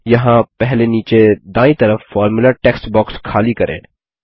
यहाँ पहले नीचे दायीं तरफ फॉर्मुला टेक्स्ट बॉक्स खाली करें